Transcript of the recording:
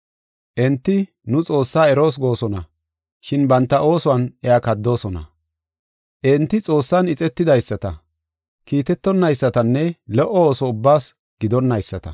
Enti nu Xoossaa eroos goosona, shin banta oosuwan iya kaddoosona. Enti Xoossan ixetidaysata, kiitetonaysatanne lo77o ooso ubbaas gidonnayisata.